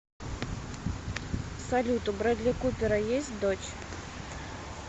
салют у брэдли купера есть дочь